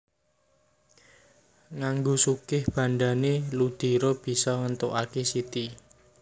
Nganggo sugih bandhané Ludiro bisa ngéntukaké Siti